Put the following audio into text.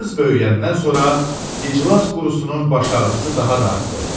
Qız böyüyəndən sonra iclas qurusunun baş ağrısı daha da artdı.